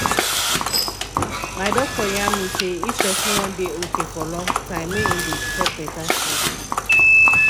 my doctor yarn me say if person wan dey okay for long time make e go dey chop better food